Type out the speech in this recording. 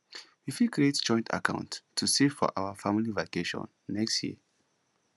we fit create joint account to save for our family vacation next year